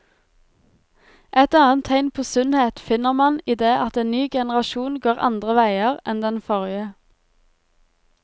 Et annet tegn på sunnhet finner man i det at en ny generasjon går andre veier enn den forrige.